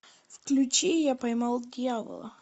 включи я поймал дьявола